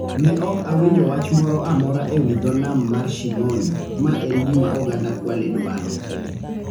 Ne ok awinjo wach moro amora ewi dho nam mar Shimoni, ma en gima oganda Kwale dwaro.